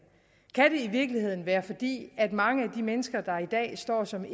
i virkeligheden være fordi mange af de mennesker der i dag står som